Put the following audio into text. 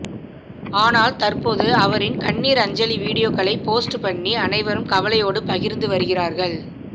ஆனால் தற்போது அவரின் கண்ணீர் அஞ்சலி வீடியோக்களை போஸ்ட் பண்ணி அனைவரும் கவலையோடு பகிர்ந்து வருகிறார்கள்